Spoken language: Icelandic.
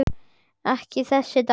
Þessi dans við kvæði.